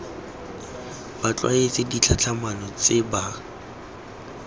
ba tlwaetse ditlhatlhamano tse ba